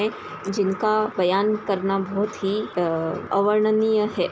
ए जिनका बयान करना बहुत ही अ अवर्णनीय है।